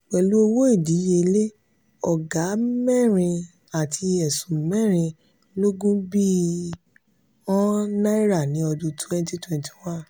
pelu owó ìdíyelé oga mẹ́rin àti ẹ̀sún mẹ́rin lógún bi.ọ̀n náírà ni ọdún twenty twenty one.